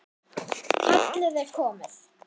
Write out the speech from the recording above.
Kallið er komið